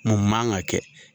Mun man ka kɛ.